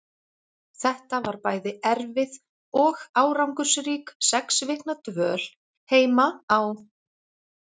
Þetta var bæði erfið og árangursrík sex vikna dvöl heima á